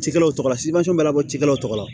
Cikɛlaw tɔgɔla labɔ cikɛlaw tɔgɔla